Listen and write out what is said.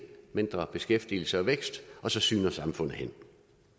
mindre beskæftigelse og vækst og så sygner samfundet hen